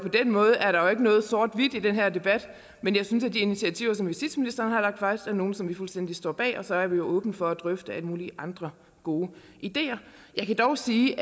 den måde er der ikke noget sort hvidt i den her debat men de initiativer som justitsministeren har lagt frem er nogle som vi fuldstændig står bag så er vi åbne for at drøfte alle mulige andre gode ideer jeg kan dog sige